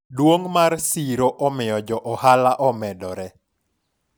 duong' mar siro omiyo jo ohala omedore